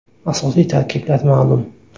Asosiy tarkiblar ma’lum.